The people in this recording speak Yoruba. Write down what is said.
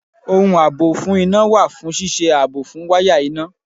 Ohun àbò fún iná wà fún ṣíṣe ààbò fún wáyà iná